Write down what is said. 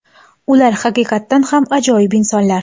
ular haqiqatan ham ajoyib insonlar.